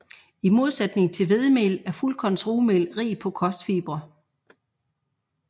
I modsætning til hvedemel er fuldkornsrugmel rig på kostfibre